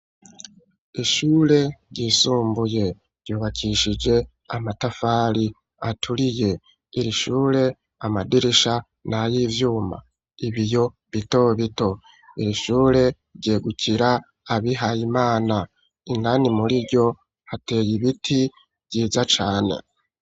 Ishure ryisumbuye ,ryubakishije amatafari aturiye, iri shure amadirisha na y'ivyuma ,ibiyo bito bito, iri shure ryegukira abihaye imana ,indani muri ryo hateye ibiti vyiza cane.